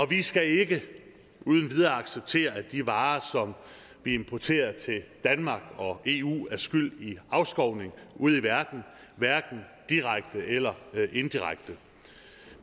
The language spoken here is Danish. vi skal ikke uden videre acceptere at de varer som vi importerer til danmark og eu er skyld i afskovning ude i verden hverken direkte eller indirekte